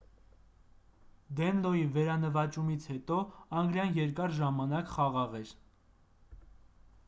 դենլոյի վերանվաճումից հետո անգլիան երկար ժամանակ խաղաղ էր